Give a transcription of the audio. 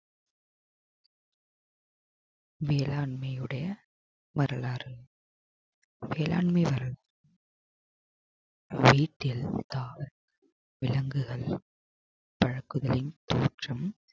வேளாண்மையுடைய வரலாறு வேளாண்மை விலங்குகள்